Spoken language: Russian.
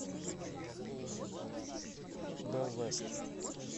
бэлвэст